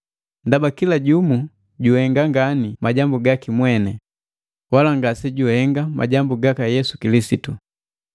Ndaba kila jumu juhenga ngani majambu gaki mweni, wala ngase juhenga majambu gaka Yesu Kilisitu.